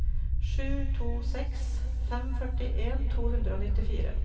sju to seks fem førtien to hundre og nittifire